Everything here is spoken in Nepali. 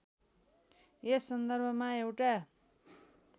यस सन्दर्भमा एउटा